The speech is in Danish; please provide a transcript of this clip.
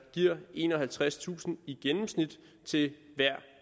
giver enoghalvtredstusind i gennemsnit til hver